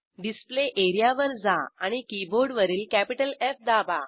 display area वर जा आणि कीबोर्डवरील कॅपिटल एफ दाबा